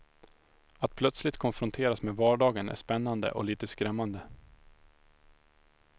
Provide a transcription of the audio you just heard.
Att plötsligt konfronteras med vardagen är spännande och lite skrämmande.